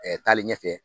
taalen ɲɛfɛ